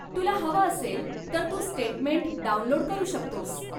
तुला हवं असेल तर तू स्टेटमेंट डाउनलोड करू शकतोस.